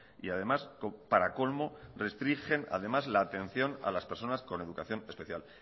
y además para colmo restringen además la atención a las personas con educación especial